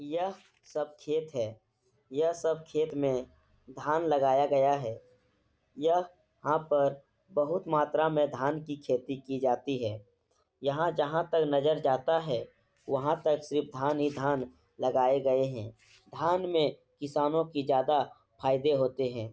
यह सब खेत है। यह सब खेत में धान लगाया गया हैं। यह यहां पर बोहोत मात्रा में धान की खेती की जाती हैं। यहाँ जहाँ तक नजर जाता है वहाँ तक सिर्फ धान ही धान लगाए गए हैं। धान में किसानों की ज्यादा फायदे होते हैं।